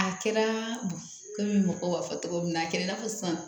A kɛra komi mɔgɔ b'a fɔ cogo min na a kɛra i n'a fɔ sisan